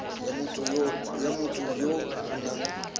ya motho ya o nang